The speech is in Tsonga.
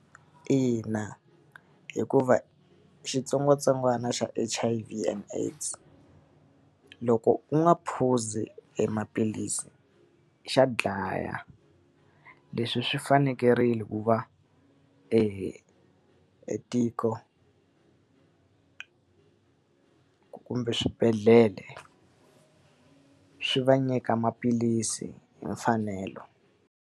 Ina hikuva xitsongwatsongwana xa H_I_V and AIDS loko u nga phuzi e maphilisi xa dlaya. Leswi swi fanekele ku va e tiko kumbe swibedhlele, swi va nyika maphilisi hi mfanelo.